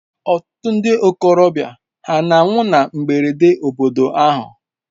Ọtụtụ ndị ntorobịa hà na-anwụ na mberede n'obodo unu?